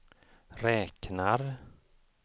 räknar